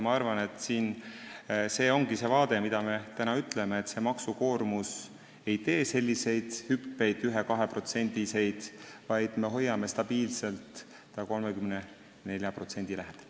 Ma arvan, et see ongi see, mida me täna ütleme, et maksukoormus ei tee 1–2%-lisi hüppeid, vaid me hoiame ta stabiilselt 34% lähedal.